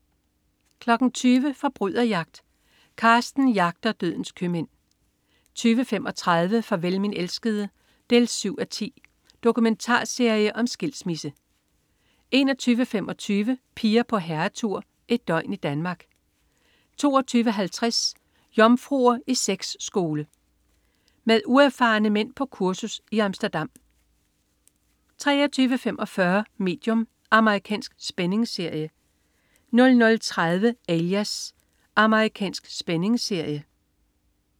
20.00 Forbryderjagt. Carsten jagter dødens købmænd 20.35 Farvel min elskede. 7:10 Dokumentarserie om skilsmisse 21.25 Piger på herretur. Et døgn i Danmark 22.50 Jomfruer i sex-skole. Med uerfarne mænd på kursus i Amsterdam 23.45 Medium. Amerikansk spændingsserie 00.30 Alias. Amerikansk spændingsserie